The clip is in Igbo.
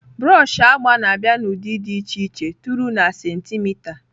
Broọshị agba na-abịa n'ụdị dị iche iche tụrụ na sentimita.